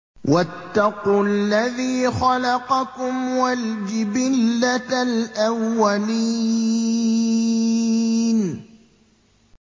وَاتَّقُوا الَّذِي خَلَقَكُمْ وَالْجِبِلَّةَ الْأَوَّلِينَ